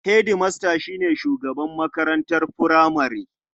Hedimasta shi ne shugaban makarantar furamare.